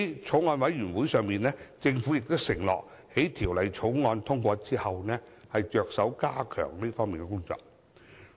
在法案委員會會議上，政府承諾在《條例草案》通過後，着手加強這方面的工作。